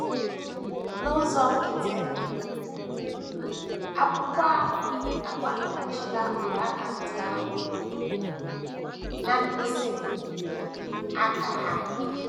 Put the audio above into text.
N’ụzọ nkịtị um, akwụkwọ ahụ agbanyeghachila mgbaaka ndị ahụ um na mkpịsị um aka ha.